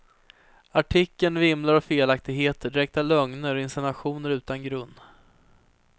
Artikeln vimlar av felaktigheter, direkta lögner och insinuationer utan grund.